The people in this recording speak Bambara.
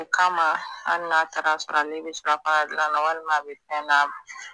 O kama hali n'a taar'a sɔrɔ ale bɛ surafanadilan na walima a bɛ fɛn na